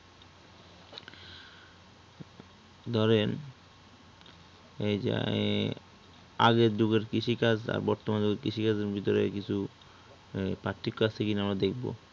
ধরেন এইযে আগের যুগের কৃষিকাজ আর বর্তমান যুগের কৃষিকাজ এর ভিতরে কিছু পার্থক্য আছে কিনা দেখবো